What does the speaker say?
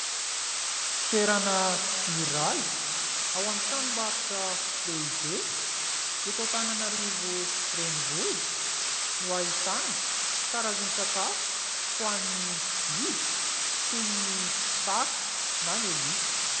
Toerana iray ao amin'ny tranombaritra lehibe eto Antananarivo renivohitra no ahitana karazan-tsakafo ho an'ny biby toy ny saka na ny alika.